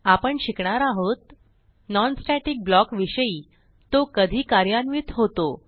आपण शिकणार आहोत non स्टॅटिक ब्लॉक विषयी तो कधी कार्यान्वित होतो